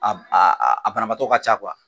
A b a a a banabatɔ ka ca kuwa